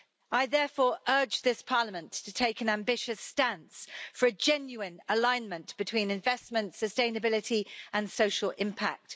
I therefore urge this Parliament to take an ambitious stance for a genuine alignment between investment, sustainability and social impact.